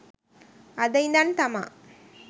අද ඉඳන් තමා